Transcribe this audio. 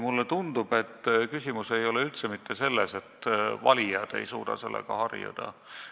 Mulle tundub, et küsimus ei ole üldse mitte selles, et valijad ei suuda sellega harjuda.